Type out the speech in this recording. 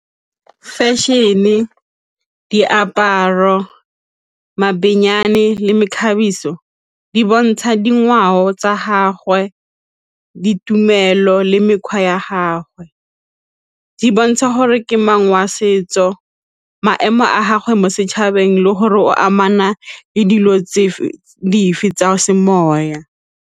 Fashion-e, diaparo le mekgabiso di bontsha dingwao tsa gagwe ditumelo le mekgwa ya gagwe. Di bontsha gore ke mang wa setso, maemo a gagwe mo setšhabeng le gore o amana le dilo dife tsa semoya.